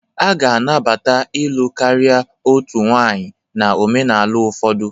A ga-anabatakwa ịlụ karịa otu nwanyị na omenala ụfọdụ.